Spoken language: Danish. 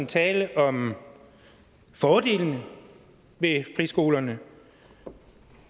tale om fordelen ved friskolerne og